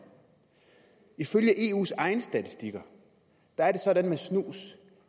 ifølge eus egne statistikker er det sådan med snus